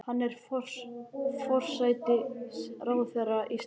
Hún er forsætisráðherra Íslands.